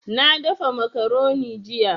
Na dafa macaroni jiya